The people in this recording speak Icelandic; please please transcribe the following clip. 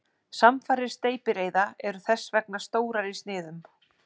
Samfarir steypireyða eru þess vegna stórar í sniðum.